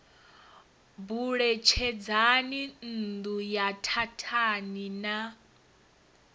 buletshedzani nṋdu ye thathani na